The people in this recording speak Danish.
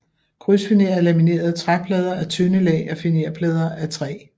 Krydsfiner er laminerede træplader af tynde lag af finerplader af træ